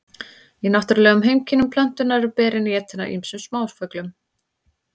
í náttúrulegum heimkynnum plöntunnar eru berin étin af ýmsum smáfuglum